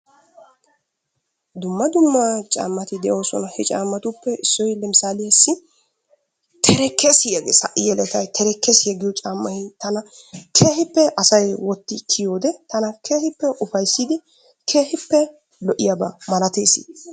dumma dumma caammati de'oosona. he caammatuppe issoy leemisaaliyaassi terekkessiya ges ha'i yeletay terekkessiyaa giyo caammay tana keehippe asay wotti kiyyiyoode tana keehippe ufayssidi kehippe lo''iyaaba malatees.